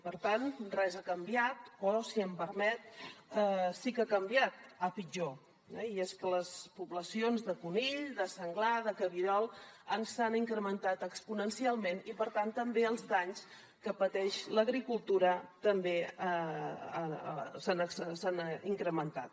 per tant res ha canviat o si m’ho permet sí que ha canviat a pitjor eh i és que les poblacions de conill de senglar de cabirol s’han incrementat exponencialment i per tant també els danys que pateix l’agricultura s’han incrementat